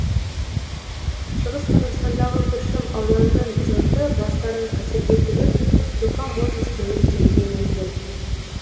шығыс қазақстандағы күршім ауданының жұрты бастарын қатерге тігіп жұқа мұз үстімен жүруге мәжбүр